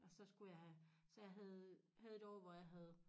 Og så skulle jeg have så jeg havde havde et år hvor jeg havde